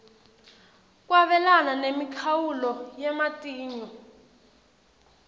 kwabelana nemikhawulo yematinyo